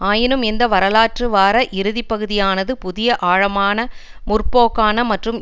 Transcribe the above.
ஆயினும் இந்த வரலாற்று வார இறுதிப்பகுதியானது புதிய ஆழமான முற்போக்கான மற்றும்